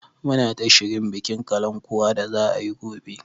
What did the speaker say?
Muna ta shirin bikin kalankuwa da za a yi gobe.